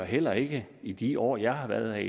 heller ikke i de år jeg har været